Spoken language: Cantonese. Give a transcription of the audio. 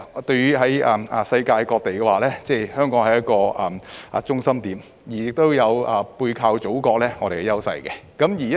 對於世界各地而言，香港是中心點，同時亦有背靠祖國的優勢。